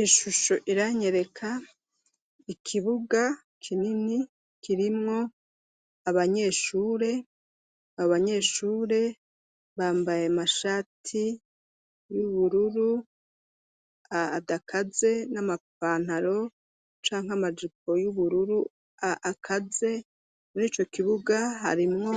Ishusho iranyereka ikibuga kinini kirimwo abanyeshure abanyeshure bambaye amashati y'ubururu adakaze n'amapantaro canka amajipo y'ubururu akaze n'ico kibuga harimwo